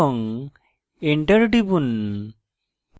enter টিপুন